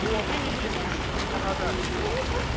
о ныне действующему законодательству